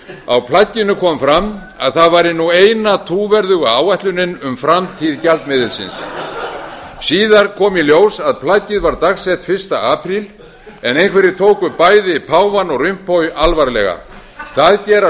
á plagginu kom fram að það væri ú eina trúverðuga áætlunin um framtíð gjaldmiðilsins síðar kom í ljós að plaggið var dagsett fyrsta apríl en einhverjir tóku bæði páfann og rompuy alvarlega það gera